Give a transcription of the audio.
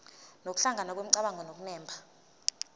nokuhlangana kwemicabango nokunemba